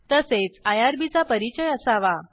तसेच आयआरबी चा परिचय असावा